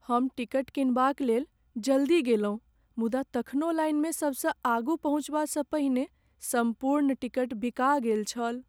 हम टिकट किनबाकक लेल जल्दी गेलहुँ मुदा तखनो लाइनमे सबसँ आगू पहुँचबासँ पहिने सम्पूर्ण टिकट बिका गेल छल ।